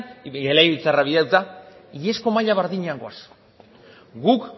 legebiltzarrak bidalita iazko maila berdinean goaz guk